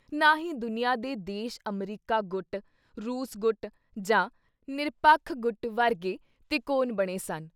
ਨਾ ਹੀ ਦੁਨੀਆਂ ਦੇ ਦੇਸ਼ ਅਮਰੀਕਾ ਗੁੱਟ, ਰੂਸ-ਗੁੱਟ ਜਾਂ ਨਿਰਪੱਖ-ਗੁੱਟ ਵਰਗੀ ਤਿਕੋਨ ਬਣੇ ਸਨ।